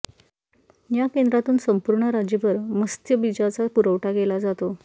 या केंद्रातून संपूर्ण राज्यभर मस्त्यबीजाचा पुरवठा केला जातो